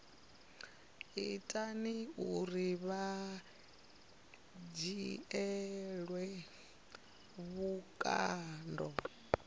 ita uri vha dzhielwe vhukando